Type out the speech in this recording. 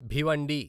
Bhiwandi